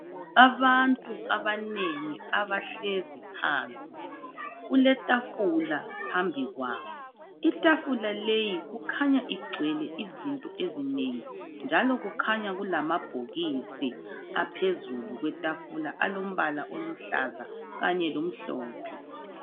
abantu abanengi abahlezi phansi kule tafula phambikwabo itafula leyi ikhanya igcwele izinto ezinengi njalo kukhanya kulamabhokisi aphezulu kwetafula alompala oluhlaza kanye lomhlophe